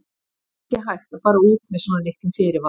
Það er ekki hægt að fara út með svona litlum fyrirvara.